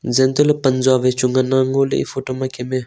jeh antoh le pan jau wai chu ngan le ngo le e photo ma Kem e.